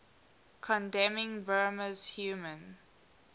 condemning burma's human